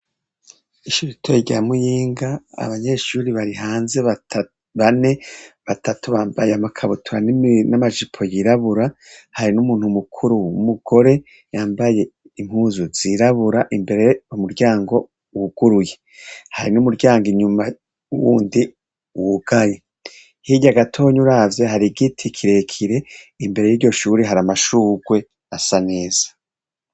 Ishure ritoyi rya muyinga Abanyeshuri bari hanze bane batatu bambaye Amakabutura n'Amajipo yirabura ,hari n'umuntu mukuru umugore yambaye impuzu z' irabura imbere umuryango wuguruye hari n'umuryango inyuma wundi wugaye hirya gatoya uravye hari giti kirekire imbere y'iryoshuri hari amashugwe asa neza.